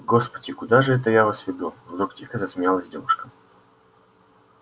господи куда же это я вас веду вдруг тихо засмеялась девушка